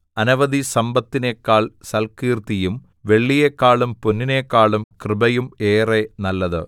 അനവധി സമ്പത്തിനെക്കാൾ സൽക്കീർത്തിയും വെള്ളിയേക്കാളും പൊന്നിനെക്കാളും കൃപയും ഏറെ നല്ലത്